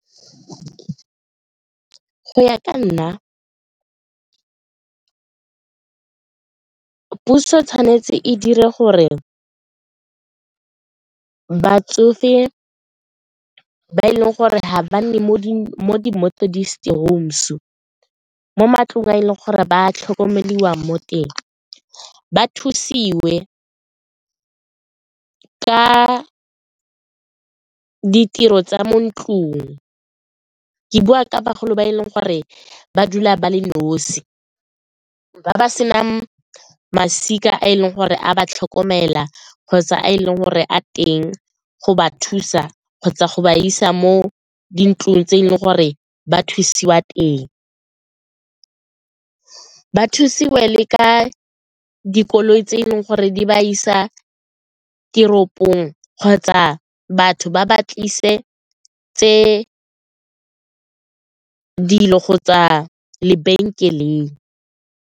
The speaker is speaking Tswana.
Go ya ka nna, puso tshwanetse e dire gore batsofe ba e leng gore ga ba nne mo di mo matlong a e leng gore ba tlhokomelwang mo teng, ba thusiwe ka ditiro tsa mo ntlong, ke bua ka bagolo ba e leng gore ba dula ba le nosi, ba ba sena masika a e leng gore a ba tlhokomela kgotsa a e leng gore a teng go ba thusa kgotsa go ba isa mo dintlong tse e leng gore ba thusiwa teng. Ba thusiwe le ka dikoloi tse e leng gore di ba isa teropong kgotsa batho ba ba tlisetse dilo kgotsa lebenkeleng.